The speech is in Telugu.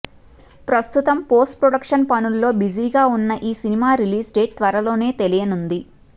ప్రస్తుతం పోస్ట్ ప్రొడక్షన్ పనుల్లో బిజీగా ఉన్న ఈ సినిమా రిలీజ్ డేట్ త్వరలోనే తెలియనుంది